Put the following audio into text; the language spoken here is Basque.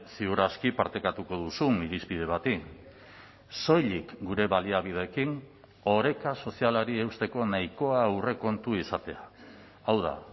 ziur aski partekatuko duzun irizpide bati soilik gure baliabideekin oreka sozialari eusteko nahikoa aurrekontu izatea hau da